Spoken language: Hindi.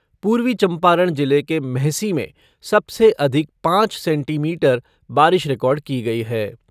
पूर्वी चंपारण जिले के मेहसी में सबसे अधिक पाँच सेंटीमीटर बारिश रिकार्ड की गई है।